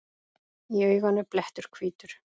Í auganu blettur hvítur.